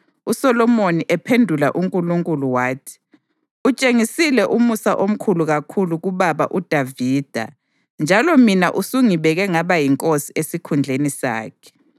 USolomoni ephendula uNkulunkulu wathi: “Utshengisile umusa omkhulu kakhulu kubaba uDavida njalo mina usungibeke ngaba yinkosi esikhundleni sakhe.